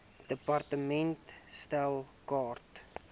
department stel kaarte